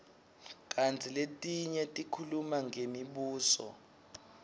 kantsi letinye tikhuluma ngemibuso